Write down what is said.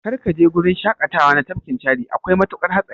Kar kaje gurin shaƙatawa na tafkin Chadi, akwai matuƙar hatsari.